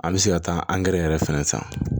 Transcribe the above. An bɛ se ka taa an gɛrɛ fɛnɛ ta